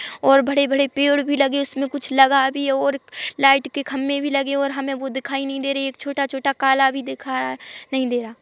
और बड़े-बड़े पेड़ भी लगे इसमें कुछ लगा भी है और लाइट के खंभे भी लगे और हमे वो दिखाई नहीं दे रहा है एक छोटा-छोटा एक काला भी दिखाई नहीं दे रहा --